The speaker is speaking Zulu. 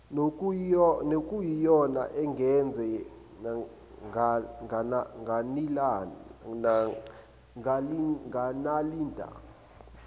nokuyiyona engenze nganilanda